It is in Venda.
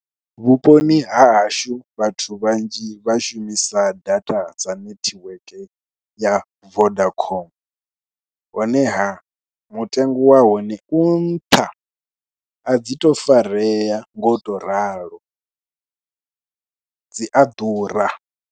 Vhuponi ha hashu vhathu vhanzhi vha shumisa data dza netiweke ya Vodacom honeha mutengo wa hone u nṱha a dzi tou farea ngo tou ralo, dzi a ḓura.